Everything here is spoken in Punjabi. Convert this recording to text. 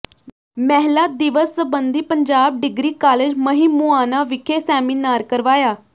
ਮਹਿਲਾ ਦਿਵਸ ਸਬੰਧੀ ਪੰਜਾਬ ਡਿਗਰੀ ਕਾਲਜ ਮਹਿਮੂਆਣਾ ਵਿਖੇ ਸੈਮੀਨਾਰ ਕਰਵਾਇਆ